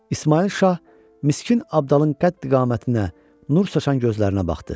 İsmayıl şah Miskin Abdalın qətd-iqamətinə nur saşan gözlərinə baxdı.